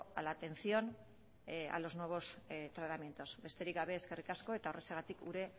a la atención a los nuevos tratamientos besterik gabe eskerrik asko eta horrexegatik gure